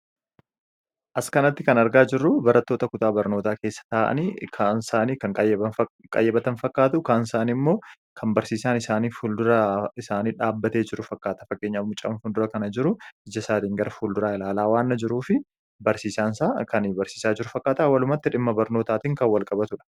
Fakkii kana irra wanti mullatu wanta barnoota waliin walqabatudha. Kunis faayidaa madaalamuu hin dandeenye fi bakka bu’iinsa hin qabne qaba. Jireenya guyyaa guyyaa keessatti ta’ee, karoora yeroo dheeraa milkeessuu keessatti gahee olaanaa taphata. Faayidaan isaa kallattii tokko qofaan osoo hin taane, karaalee garaa garaatiin ibsamuu danda'a.